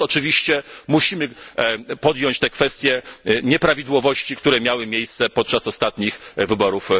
Stąd oczywiście musimy podjąć te kwestie nieprawidłowości, które miały miejsce podczas ostatnich wyborów.